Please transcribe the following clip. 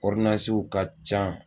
ka ca